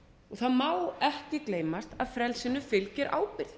og það má ekki gleymast að frelsinu fylgir ábyrgð